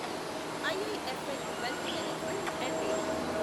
IIFL wealth management LTD